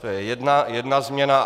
To je jedna změna.